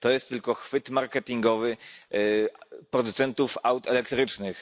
To jest tylko chwyt marketingowy producentów aut elektrycznych.